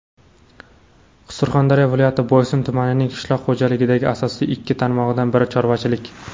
Surxondaryo viloyati Boysun tumanining qishloq xo‘jaligidagi asosiy ikki tarmog‘idan biri - chorvachilik.